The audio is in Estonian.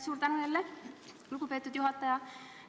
Suur tänu, lugupeetud juhataja!